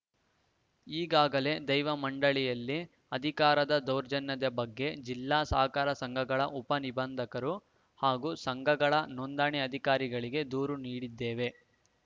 ಈಗಾಗಲೇ ದೈವ ಮಂಡಳಿಯಲ್ಲಿ ಅಧಿಕಾರದ ದೌರ್ಜನ್ಯದ ಬಗ್ಗೆ ಜಿಲ್ಲಾ ಸಹಕಾರ ಸಂಘಗಳ ಉಪ ನಿಬಂಧಕರು ಹಾಗೂ ಸಂಘಗಳ ನೋಂದಣಿ ಅಧಿಕಾರಿಗಳಿಗೆ ದೂರು ನೀಡಿದ್ದೇವೆ